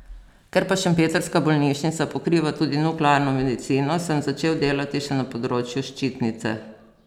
Ker pa šempetrska bolnišnica pokriva tudi nuklearno medicino, sem začel delati še na področju ščitnice.